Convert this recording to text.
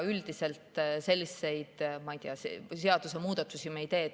Üldiselt selliseid, ma ei tea, seadusemuudatusi me ei tee.